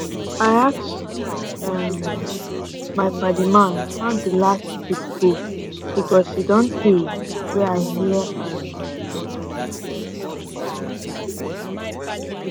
i ask um my padi man how the last trip go because e don tey wey i hear um from am